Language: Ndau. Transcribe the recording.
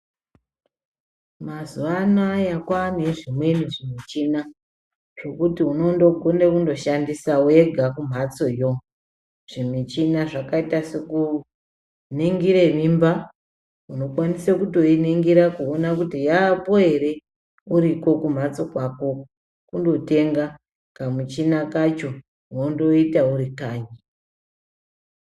Mazuwa anaya kwaane zvimweni zvimichina zvekuti unondogona kuishandisa wega kumhatsoyo, zvimichina zvakaita sekuningire mimba unokwanisa kutoiningira kuti yaapo ere uriko kumhatso kwako kundotenga kamuchina kacho wondoita uri kanyi.